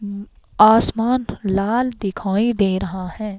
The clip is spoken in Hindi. आसमान लाल दिखाई दे रहा है.